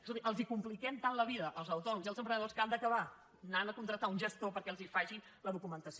escolti els compliquem tant la vida als autònoms i als emprenedors que han d’acabar anant a contractar un gestor perquè els faci la documentació